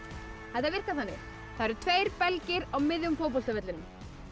þetta virkar þannig það eru tveir belgir á miðjum fótboltavellinum